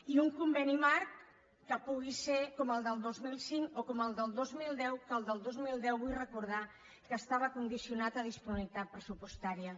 i un conveni marc que pugui ser com el del dos mil cinc o com el del dos mil deu que el del dos mil deu vull recordar que estava condicionat a disponibilitat pressupostària